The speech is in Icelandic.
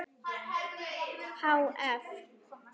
Há eff.